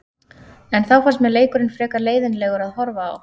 En þá fannst mér leikurinn frekar leiðinlegur að horfa á.